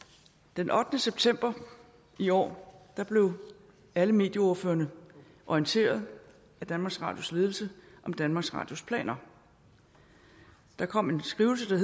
den ottende september i år blev alle medieordførerne orienteret af danmarks radios ledelse om danmarks radios planer der kom en skrivelse